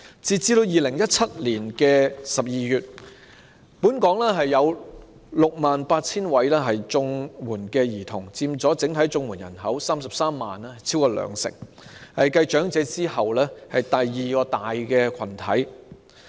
截至2017年12月，本港有 68,000 名綜援兒童，在33萬整體綜援人口之中佔超過兩成，是繼長者之後的第二大群體。